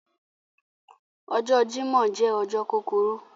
Ọjọ̀ Jímọ̀ jẹ ọjọ̀ kukuru